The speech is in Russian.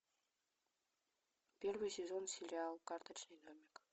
первый сезон сериал карточный домик